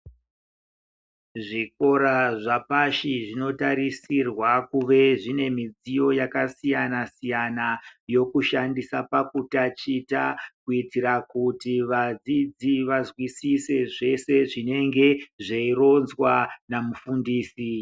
Zvikora zvapashi zvinotarisirwa kuve zvine mudziyo yakasiyana-siyana yokushandisa pakutachita. Kuitira kuti vadzidzi vazwisise zvese zvinenge zveironzwa namufundisi.